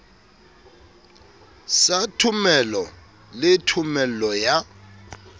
sa thomelo le thomello ya